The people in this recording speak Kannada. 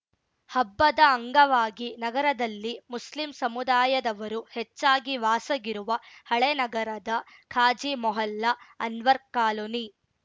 ಹಬ್ಬದ ಅಂಗವಾಗಿ ನಗರದಲ್ಲಿ ಮುಸ್ಲಿಂ ಸಮುದಾಯದವರು ಹೆಚ್ಚಾಗಿ ವಾಸಗಿರುವ ಹಳೇನಗರದ ಖಾಜಿ ಮೊಹಲ್ಲಾ ಅನ್ವರ್‌ ಕಾಲೋನಿ